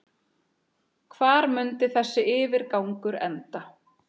Hvar mundi þessi yfirgangur enda?